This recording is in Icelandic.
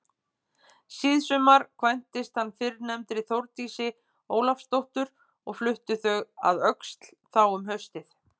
Síðsumars kvæntist hann fyrrnefndri Þórdísi Ólafsdóttur og fluttust þau að Öxl þá um haustið.